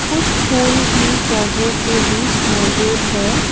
कुछ फूल भी पौधों के बीच मौजूद है।